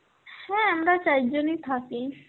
হ্যাঁ আমরা চাইরজনই থাকি.